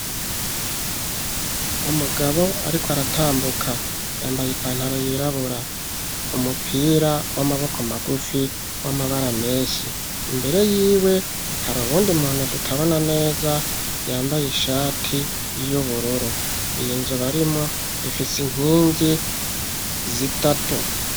Umugabo ariko aratambuka yambaye ipantaro yirabura umupira w'amaboko magufi w'amabara meshi imbere yiwe hari uwundi muntu tutabona neza yambaye ishati y'ubururu iyi nzu barimwo ifisi nkingi zitatu.